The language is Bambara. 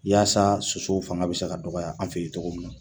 Yaasa sosow fanga bɛ se ka dɔgɔya an fɛ yen cogo min na